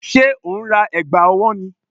Ṣé o ń ra ẹ̀gbà ọwọ́ ni?